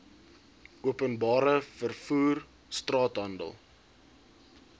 openbare vervoer straathandel